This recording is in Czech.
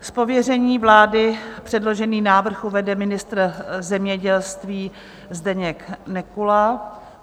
Z pověření vlády předložený návrh uvede ministr zemědělství Zdeněk Nekula.